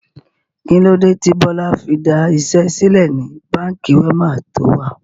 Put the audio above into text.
Kilode tí Bọlá fi da iṣẹ́ sílẹ̀ ni Báńkì Wema to wà?